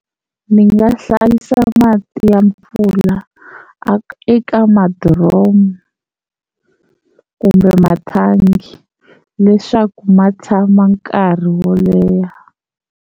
Ni nga hlayisa mati ya mpfula a eka madiromu kumbe mathangi leswaku ma tshama nkarhi wo leha.